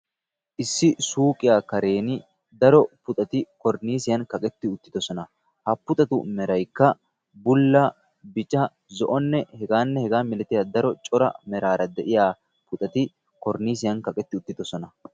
Issi suuqiya keren daro puxati koriniisiyan kaqetti uttidosona. Ha puxatu meraykka bulla, bica, zo'onne hegaanne hegaa milatiya daro cora meraara de'iya puxati koriniisiyan kaqetti uttidosona.